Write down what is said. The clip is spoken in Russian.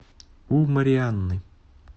у марианны